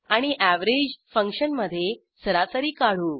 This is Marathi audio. आणि एव्हरेज फंक्शनमधे सरासरी काढू